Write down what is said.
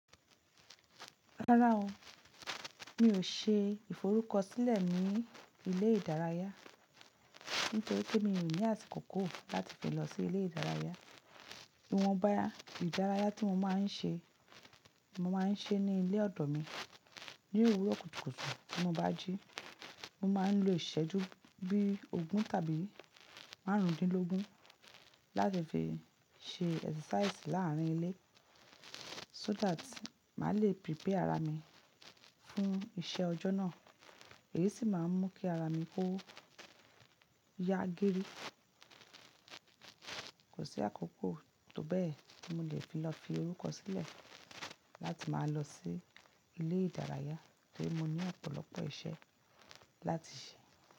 Rárá o, mi ò ṣe ìforúkọ sílẹ̀ ní ilé ìdárayá, nítorí pé mi ò ní àsìkò kò láti fi lọ sí ilé ìdárayá. Ìwọ̀nba ìdárayá tí mo máa ń ṣe, mo máa ń ṣe ní ilé ọ̀dọ̀ mi. Ní òwúrọ̀ kùtùkùtù tí mo bá jí, mo máa ń lo ìṣẹ́jú bí ogún tàbí márùndínlógún láti fi ṣe exercise láàrín ilé so that màá le prepare ara mi fún iṣẹ́ ọjọ́ náà. Èyí sì máa ń mú kí ara mi kó ya girí. Kò sí àkókò tó bẹ́ẹ̀ tí mo le fi lọ fi orúkọ sílẹ̀ láti máa lọ sí ilé ìdárayá tori mọ ní ọ̀pọ̀lọpọ̀ iṣẹ́ láti ṣe.